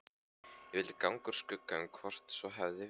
Ég vildi ganga úr skugga um hvort svo hefði verið.